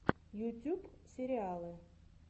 ютюб сериалы